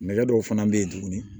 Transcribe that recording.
Nɛgɛ dɔw fana bɛ yen tuguni